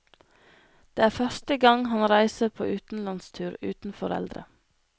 Det er første gang han reiser på utenlandstur uten foreldre.